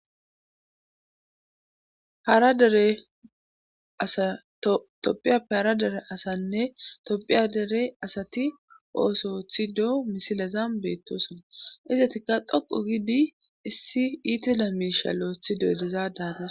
topiyappe hara dere asanne tophiya dere asati oosothido misilaza beettoosona izatikka dhoqu gidi issi iitila miisha lo'othido dezadaana